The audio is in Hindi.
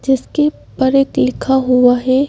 जिसके पर एक लिखा हुआ है।